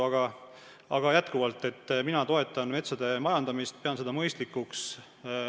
Aga mina toetan endiselt metsade majandamist, pean seda mõistlikuks.